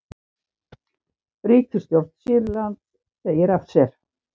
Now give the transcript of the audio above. Ríkisstjórn Sýrlands segir af sér